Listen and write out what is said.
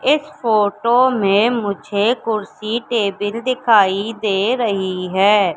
इस फोटो में मुझे कुर्सी टेबिल दिखाई दे रही है।